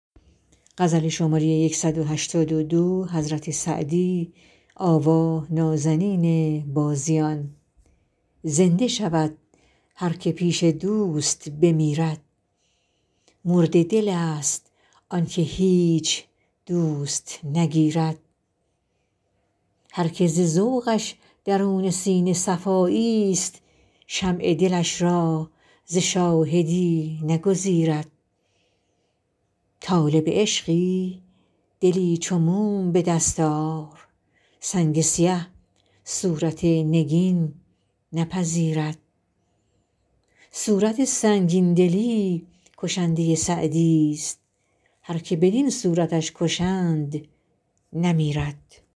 زنده شود هر که پیش دوست بمیرد مرده دلست آن که هیچ دوست نگیرد هر که ز ذوقش درون سینه صفاییست شمع دلش را ز شاهدی نگزیرد طالب عشقی دلی چو موم به دست آر سنگ سیه صورت نگین نپذیرد صورت سنگین دلی کشنده سعدیست هر که بدین صورتش کشند نمیرد